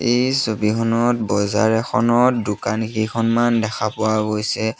এই ছবিখনত বজাৰ এখনত দোকান কেইখনমান দেখা পোৱা গৈছে।